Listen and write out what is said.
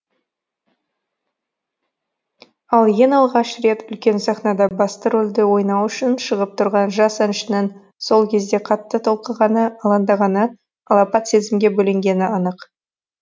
ал ең алғаш рет үлкен сахнада басты рөлді ойнау үшін шығып тұрған жас әншінің сол кезде қатты толқығаны алаңдағаны алапат сезімге бөленгені анық